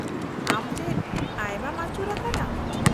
-ᱟᱢ ᱪᱮᱫ ᱟᱭᱢᱟᱢ ᱟᱹᱪᱩᱨ ᱟᱠᱟᱱᱟ ?